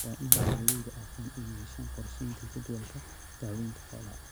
Waa in beeralaydu aqoon u yeeshaan qorshaynta jadwalka daawaynta xoolaha.